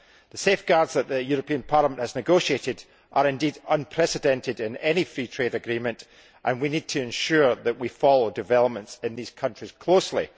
The safeguards that the European Parliament has negotiated are indeed unprecedented in any Free Trade Agreement and we need to ensure that we follow developments in these countries closely.